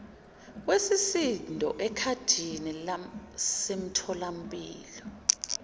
wesisindo ekhadini lasemtholampilo